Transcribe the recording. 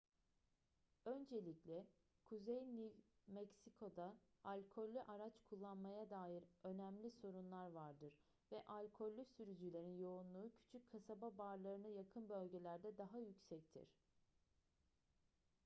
öncelikle kuzey new mexico'da alkollü araç kullanmaya dair önemli sorunlar vardır ve alkollü sürücülerin yoğunluğu küçük kasaba barlarına yakın bölgelerde daha yüksektir